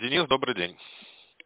кирилл добрый день